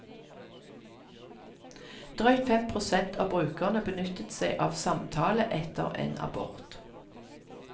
Drøyt fem prosent av brukerne benyttet seg av samtale etter en abort.